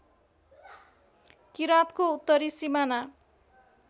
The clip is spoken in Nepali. किराँतको उत्तरी सिमाना